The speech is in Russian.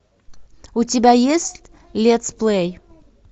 у тебя есть летсплей